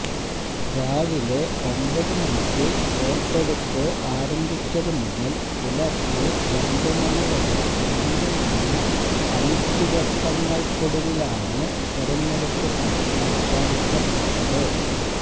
രാവിലെ ഒമ്പത് മണിക്ക് വോട്ടെടുപ്പ് ആരംഭിച്ചത് മുതല് പുലര്ച്ചെ രണ്ട് മണിവരെ നീണ്ട് നിന്ന അനിശ്ചിതത്വങ്ങള്ക്കൊടുവിലാണ് തെരഞ്ഞെടുപ്പ് ഫലം പ്രഖ്യാപിക്കപ്പെട്ടത്